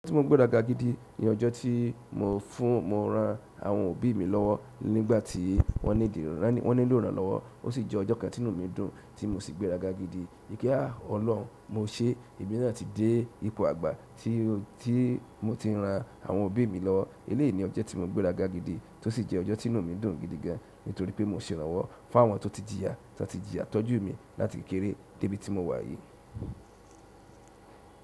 Ọjọ́ tí mo gbéra ga gidi ni ọjọ́ tí mo fún, mo ran àwọn òbí mi lọ́wọ́ nígbà tí wọ́n nídìí, wọ́n nílò ìrànlọ́wọ́. Ó sì jẹ́ ọjọ́ kan tí inú mi dùn tí mo sì gbéra ga gidi. Kia olohun mo se, emi náà ti de ipò agba ti mo ti n ran àwọn òbí mi lọ́wọ́. Eleyii ni ọjọ́ tí mo gbéra ga gidi tó sì jẹ ọjọ́ tí inú mi dùn gidi gan nítorí pé mo ṣe ìrànwọ́ fáwọn tó ti jìyà, tó ti jìyà tọ́jú mi láti kékeré dé ibi tí mo wà yìí.